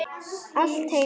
Allt heima.